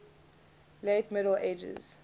late middle ages